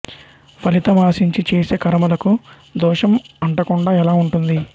ఫలితం ఆశించి చేసే కర్మలకు దోషం అంటకుండా ఎలా ఉంటుంది